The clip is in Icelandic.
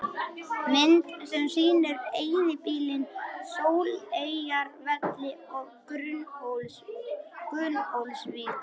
Mynd sem sýnir eyðibýlin Sóleyjarvelli og Gunnólfsvík.